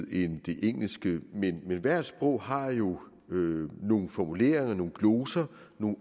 end det engelske men hvert sprog har jo nogle nogle formuleringer og nogle gloser